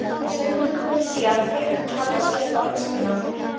Sekúndubroti síðar fékk hann harðan skell á öxlina.